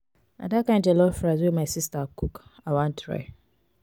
na dat kain jollof rice wey my sista cook i wan try.